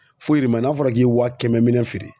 Foyi de man ɲi n'a fɔra k'i ye wa kɛmɛ minɛ feere.